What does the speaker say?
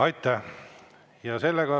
Aitäh!